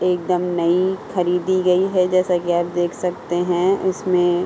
एक दम नई खरीदी गई है जैसा की आप देख सकते हैं इसमें --